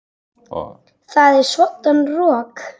Það er svoddan rok.